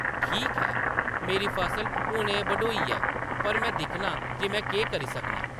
“ठीक ऐ, मेरी फसल हुनै बढोई ऐ, पर में दिक्खनां जे में केह् करी सकनां ।